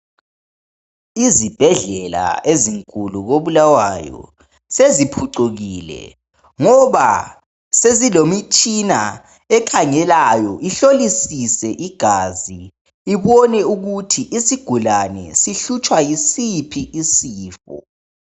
Izibhedlela ezinkulu koBulawayo seziphucikile ngoba sezilemitshina ekhangelayo ihlolisise igazi ibone ukuthi isigulane sihlutshwa yisiphi isifo.